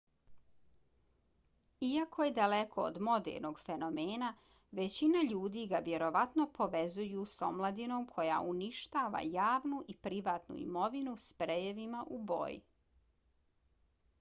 iako je daleko od modernog fenomena većina ljudi ga vjerovatno povezuju s omladinom koja uništava javnu i privatnu imovinu sprejevima u boji